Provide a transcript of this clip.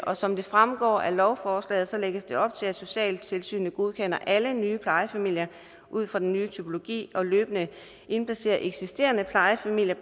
og som det fremgår af lovforslaget lægges der op til at socialtilsynet godkender alle nye plejefamilier ud fra den nye typologi og løbende indplacerer eksisterende plejefamilier